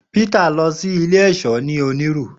Peter lọ si ile iṣọ ni Oniru.